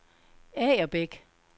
Agerbæk